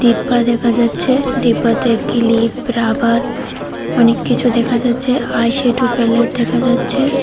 ডিব্বা দেখা যাচ্ছে ডিব্বা তে কিলিপ রাবার অনেককিছু দেখা যাচ্ছে আইশ্যাডো প্যালেট দেখা যাচ্ছে।